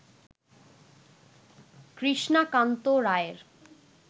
কৃষ্ণকান্ত রায়ের